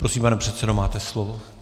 Prosím, pane předsedo, máte slovo.